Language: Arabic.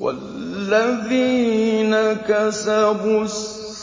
وَالَّذِينَ كَسَبُوا السَّيِّئَاتِ